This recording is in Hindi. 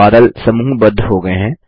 बादल समूहबद्ध हो गये हैं